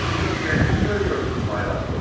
Siz kəndiniz söyləyirsiniz, Bay Raskolnikov.